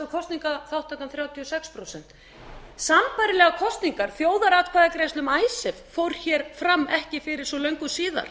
kosningaþátttakan þrjátíu og sex prósent sambærilegar kosningar þjóðaratkvæðagreiðslu um icesave fór hér fram ekki fyrir svo löngu síðan